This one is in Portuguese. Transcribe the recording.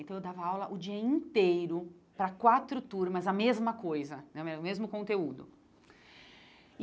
Então, eu dava aula o dia inteiro para quatro turmas, a mesma coisa né, era o mesmo conteúdo e.